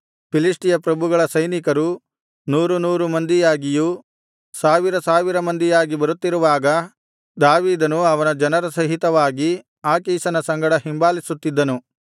ಫಿಲಿಷ್ಟಿಯ ಪ್ರಭುಗಳ ಸೈನಿಕರು ನೂರು ನೂರು ಮಂದಿಯಾಗಿಯೂ ಸಾವಿರ ಸಾವಿರ ಮಂದಿಯಾಗಿ ಬರುತ್ತಿರುವಾಗ ದಾವೀದನು ಅವನ ಜನರ ಸಹಿತವಾಗಿ ಆಕೀಷನ ಸಂಗಡ ಹಿಂಬಾಲಿಸುತ್ತಿದ್ದನು